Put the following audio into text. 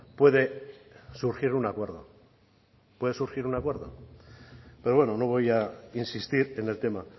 puede surgir un acuerdo puede surgir un acuerdo pero bueno no voy a insistir en el tema